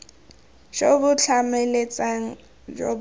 jo bo tlhamaletseng jo bo